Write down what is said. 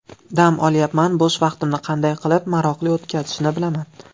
Dam olyapman, bo‘sh vaqtimni qanday qilib maroqli o‘tkazishni bilaman.